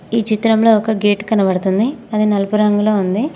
ఈ చిత్రంలో ఒక గేటు కనబడుతుంది అది నలుపు రంగులో ఉంది.